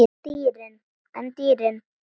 En dýrin?